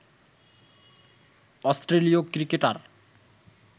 অস্ট্রেলীয় ক্রিকেটার